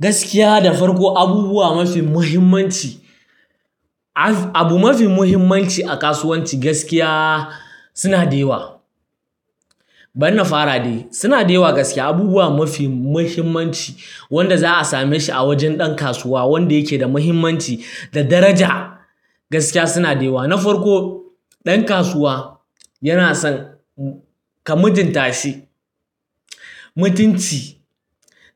Gaskiya, da farko, abubuwa mafi muhimmanci. Abu mafi muhimmanci a kasuwanci gaskiya suna da yawa. Bari na fara dai, suna da yawa gaskiya. Abubuwa mafi muhimmanci, wanda za a same shi a wajen ɗan kasuwa, wanda yake da muhimmanci da daraja. Gaskiya suna da yawa. Na farko, ɗan kasuwa yana son ka mutunta shi. Mutunci.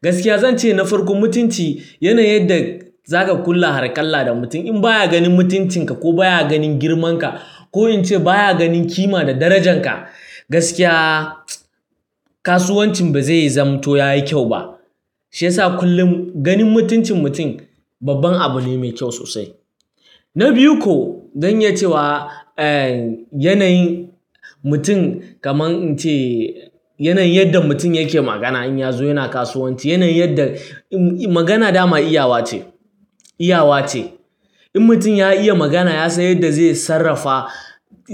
Gaskiya zan ce na farko mutunci yanayin yadda za ka kula hakalla da mutum. In baya ganin mutuncin ka ko baya ganin girman ka, ko in ce baya ganin kima da darajan ka, gaskiya, kasuwancin ba zai zamanto ya yi kyau ba. Shi ya sa kullum ganin mutuncin mutum babban abu ne mai kyau sosai. Na biyu ko, zan yi cewa yanayin mutum, kamar in ce yanayin yadda mutum yake magana in ya zo yana kasuwanci, yanayin yadda magana dama iyawa ce, iyawa ce. In mutum ya iya magana, ya san yadda zai sarrafa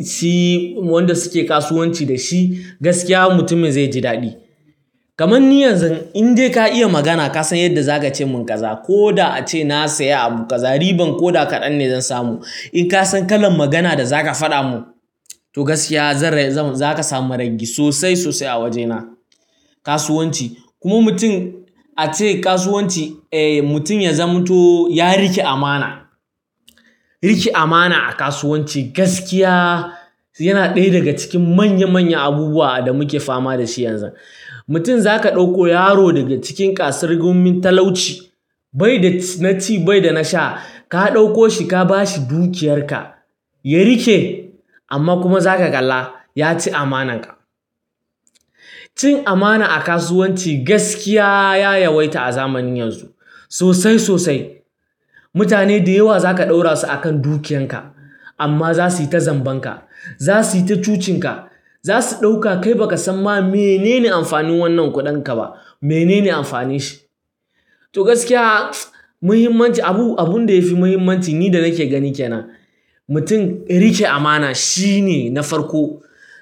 shi wanda suke kasuwanci da shi. Gaskiya mutumin zai ji daɗi. Kaman ni yanzu in dai ka iya magana, ka san yadda za ka ce mun kaza, ko da ace na saya abu kaza, riban ko da kaɗan ne zan samu. In ka san kalan magana da za ka faɗa mun, to gaskiya, zan zama za ka samu rangi sosai sosai a wajena, kasuwanci, kuma mutum a ce kasuwanci, eh, mutum ya zamanto ya riƙe amana. Riƙe amana a kasuwanci, gaskiya yana ɗaya daga cikin manya manya abubuwa da muke fama da shi yanzu. Mutum za ka ɗauko yaro daga cikin ƙasar gumin Talauci, bai da naci, bai da nasha, ka ɗauko shi ka ba shi dukiyar ka. Ya riƙe, amma kuma za ka kalla, ya ci amanar ka. Cin amana a kasuwanci gaskiya ya yawaita a zamanin yanzu sosai sosai. Mutane da yawa za ka ɗaura su a kan dukiyar ka, amma za su yi ta zamban ka. Za su yi ta cucin ka. Za su ɗauka kai ba ka san ma menene amfanin wannan kuɗin ka ba, menene amfanin shi. To gaskiya, muhimmancin abu, abun da yafi muhimmanci ni da nake gani ke nan, mutum ya riƙe amana shine na farko.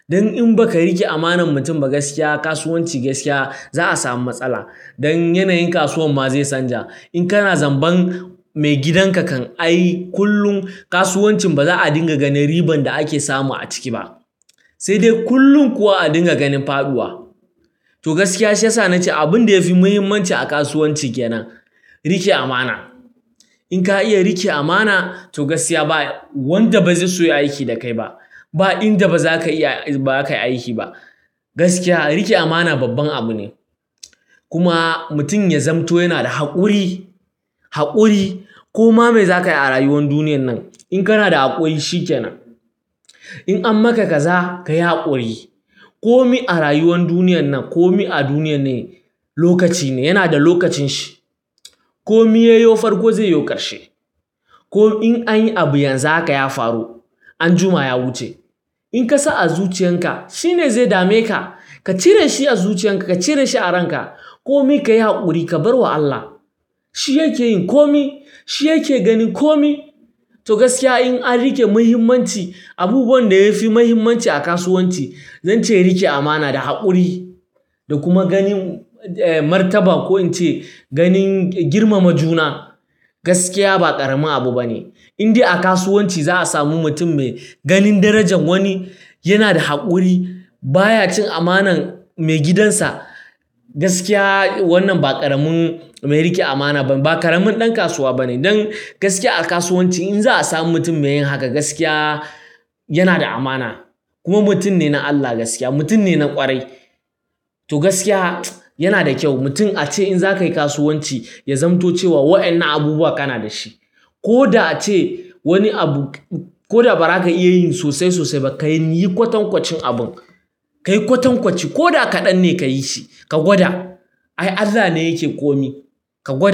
Don in ba ka riƙe amanan mutum ba, gaskiya kasuwanci gaskiya, za'a samu matsala. Don yanayin kasuwar ma zai canja. In kana zamban mai gidan ka kan, ai kullum kasuwancin ba za'a dinga ganin riban da ake samu a ciki ba, sai dai kullum kuwa a dinga ganin faɗuwa. To gaskiya, shi ya sa nace abun da yafi muhimmanci a kasuwanci ke nan, riƙe amana. In ka iya riƙe amana to gaskiya ba wanda bazai so ya yi aiki da kai ba. Ba inda baza ka iya, baza ka yi aiki ba. Gaskiya riƙe amana babban abu ne. Kuma mutum ya zamanto yana da haƙuri, haƙuri. Koma me za ka yi a rayuwar duniyar nan, in kana da haƙuri shi ke nan. In amma ka kaza ka yi haƙuri. Komi a rayuwar duniyar nan, komi a duniyar ne, lokaci ne, yana da lokacin shi. Komi yayi yo farko, zai yo ƙarshe. Komi in anyi abu yanzu haka ya faru, anjima ya wuce. In ka sa a zuciyar ka, shi ne zai dame ka. Ka cire shi a zuciyar ka, ka cire shi a ran ka. Komi ka yi haƙuri, ka bar wa Allah. Shi yake yin komi. Shi yake ganin komi. To gaskiya in an riƙe muhimmanci, abubuwan da yafi muhimmanci a kasuwanci, zan ce riƙe amana da haƙuri, da kuma ganin martaba, ko in ce ganin girmama juna gaskiya ba ƙaramin abu bane. In dai a kasuwanci za'a samu mutum me ganin darajan wani, yana da haƙuri, baya cin amanar mai gidan sa, gaskiya wannan ba ƙaramin mai riƙe amana bane, ba ƙaramin ɗan kasuwa bane. Don, gaskiya a kasuwanci in za a samu mutum me yin haka, gaskiya yana da amana. Kuma mutum ne na Allah gaskiya. Mutum ne na ƙwarai. To gaskiya, yana da kyau mutum a ce in za ka yi kasuwanci, ya zamanto cewa wa'innan abubuwa kana da shi. Ko da ace wani abu, ko da ba ra ka iya yin sosai sosai ba, ka yi ƙoton ƙocin abun. Ka yi ƙoton ƙoci, ko da kaɗan ne ka yi shi. Ka gwada. Ai Allah ne yake komi. Ka gwada.